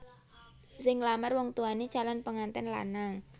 Sing nglamar wong tuwane calon penganten lanang